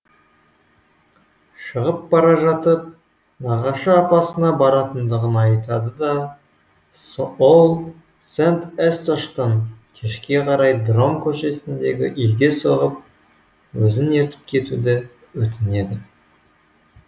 шығып бара жатып нағашы апасына баратындығын айтады да ол сент эсташтан кешке қарай дром көшесіндегі үйге соғып өзін ертіп кетуді өтінеді